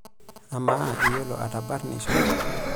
Amaa, iyiolo atabarnisho?